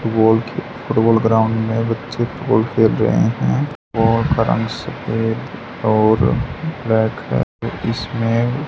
football के ground में बच्चे बॉल खेल रहे हैं और ब्लैक है इसमें--